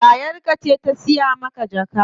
Yayar ka ce ta siya maka jaka?